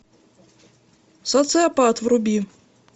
социопат вруби